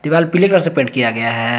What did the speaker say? दीवाल पीले कलर से पेंट किया गया है।